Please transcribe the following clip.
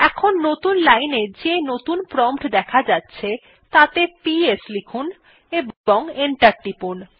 এখন নতুন লাইন এ যে নতুন প্রম্পট দেখা যাচ্ছে তাতে পিএস লিখুন এবং এন্টার টিপুন